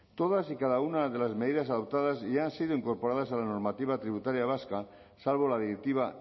todas y cada una de las medidas adoptadas ya han sido incorporadas a la normativa tributaria vasca salvo la directiva